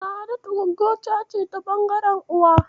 Sa'adatu Gwaggota ce ta ɓangaren uwa.